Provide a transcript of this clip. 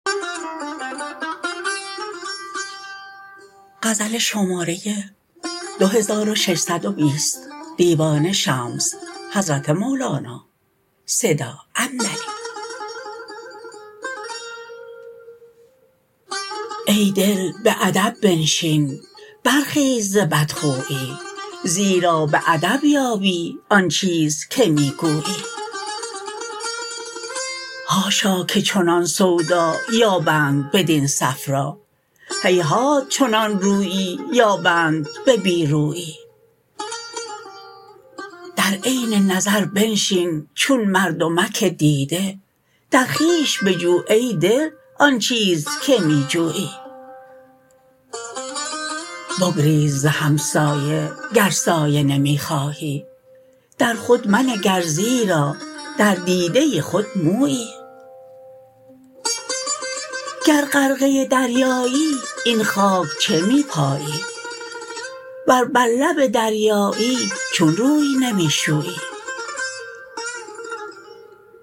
ای دل به ادب بنشین برخیز ز بدخویی زیرا به ادب یابی آن چیز که می گویی حاشا که چنان سودا یابند بدین صفرا هیهات چنان رویی یابند به بی رویی در عین نظر بنشین چون مردمک دیده در خویش بجو ای دل آن چیز که می جویی بگریز ز همسایه گر سایه نمی خواهی در خود منگر زیرا در دیده خود مویی گر غرقه دریایی این خاک چه پیمایی ور بر لب دریایی چون روی نمی شویی